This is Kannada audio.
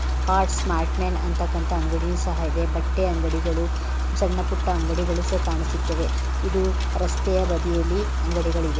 ಹಾರ್ಟ್ ಸ್ಮಾರ್ಟ್ ಮ್ಯಾನ್ ಅಂತಕಂತ ಅಂಗಡಿಯು ಸಹ ಇದೆ ಬಟ್ಟೆ ಅಂಗಡಿಗಳು ಸಣ್ಣ ಪುಟ್ಟ ಅಂಗಡಿಗಳು ಸಹ ಕಾಣಿಸುತ್ತವೆ ಇದು ರಸ್ತೆಯಾ ಬದಿಯಲ್ಲಿ ಅಂಗಡಿಗಳು ಇವೆ.